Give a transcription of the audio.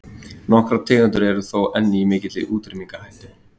Nokkrar tegundir eru þó enn í mikilli útrýmingarhættu.